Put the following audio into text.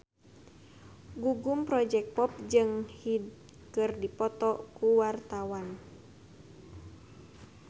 Gugum Project Pop jeung Hyde keur dipoto ku wartawan